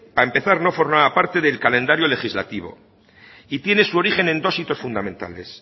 para empezar no formaba parte del calendario legislativo y tiene su origen en dos hitos fundamentales